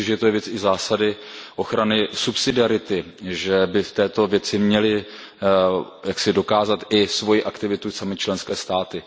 Myslím si, že to je věc i zásady ochrany subsidiarity, že by v této věci měly jaksi dokázat i svoji aktivitu samy členské státy.